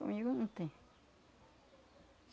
Comigo não tem.